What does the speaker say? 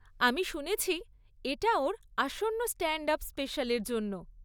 আমি শুনেছি এটা ওর আসন্ন স্ট্যান্ড আপ স্পেশালের জন্য।